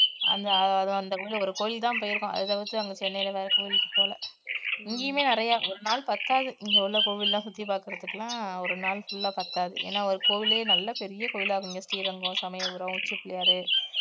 அந்த அது அந்த ஒரு கோயில்தான் போயிருக்கும் அதை வந்து அங்க சென்னையில வேற கோயிலுக்கு போல இங்கேயுமே நிறைய ஒரு நாள் பத்தாது இங்க உள்ள கோவில் எல்லாம் சுத்தி பாக்குறதுக்கெல்லாம் ஒரு நாள் full ஆ பத்தாது ஏன்னா ஒரு கோவிலே நல்ல பெரிய கோவிலா இருக்கும், இங்க ஸ்ரீரங்கம், சமயபுரம், உச்சி பிள்ளையாரு